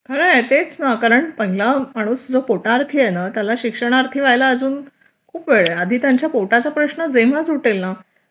खरे तेच ना कारण पहिला माणूस जो पोटआरती ये ना त्याला शिक्षण आरती होयला अजून खूप वेळ आहे आधी त्यांच्या पोटाचा प्रश्न जेव्हा सुटेल ना